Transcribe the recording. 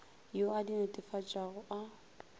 yo a di netefatšago a